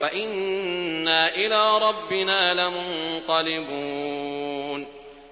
وَإِنَّا إِلَىٰ رَبِّنَا لَمُنقَلِبُونَ